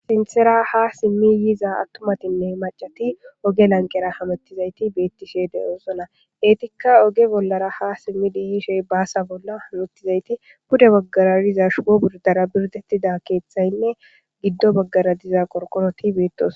Sinthera ha simmi yiza attumatinne maccati oge lanqera hamettizayti beettishe de7oosona. Eetikka oge bollara ha simmidi yishe baasa bolla humuttizayti bude baggara diza shuwo birdara birdettida keeththaynne giddo baggara diza qorqoroti beettoso.